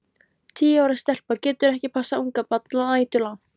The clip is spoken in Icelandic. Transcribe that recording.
Tíu ára stelpa getur ekki passað ungbarn næturlangt.